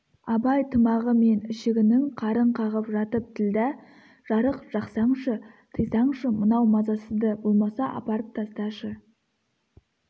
абай тымағы мен ішігінің қарын қағып жатып ділдә жарық жақсаңшы тыйсаңшы мынау мазасызды болмаса апарып тасташы